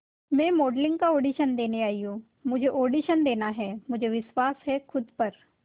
मैं मॉडलिंग का ऑडिशन देने आई हूं मुझे ऑडिशन देना है मुझे विश्वास है खुद पर